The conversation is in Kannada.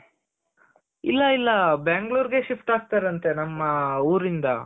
ಇಲ್ಲ ಇಲ್ಲ ಬ್ಯಾಂಗ್ಳೂರ್ ಗೆ shift ಆಗ್ತಾರಂತೆ ನಮ್ ಊರಿಂದ